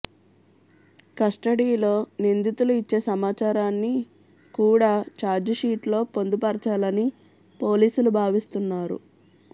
కస్టడీలో నిందితులు ఇచ్చే సమాచారాన్ని కూడా చార్జిషీట్లో పొందుపరచాలని పోలీసులు భావిస్తున్నారు